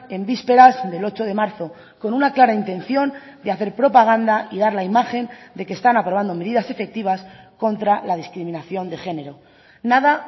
en vísperas del ocho de marzo con una clara intención de hacer propaganda y dar la imagen de que están aprobando medidas efectivas contra la discriminación de género nada